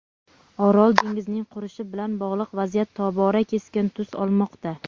Orol dengizining qurishi bilan bog‘liq vaziyat tobora keskin tus olmoqda.